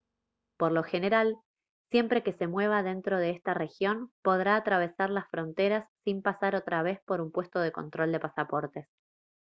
por lo general siempre que se mueva dentro de esta región podrá atravesar las fronteras sin pasar otra vez por un puesto de control de pasaportes